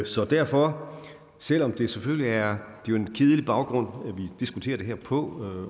så derfor selv om det selvfølgelig er en kedelig baggrund vi diskuterer det her på